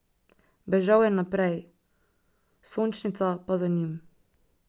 Bežal je naprej, Sončnica pa za njim.